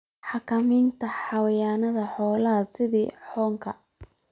Xakamaynta xayawaanada xoolaha sida xoonka.